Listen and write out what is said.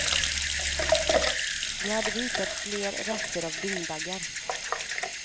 Då hade vi hittat fler rester av dyngbaggar.